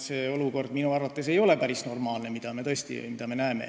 See olukord, mida me näeme, ei ole minu arvates päris normaalne.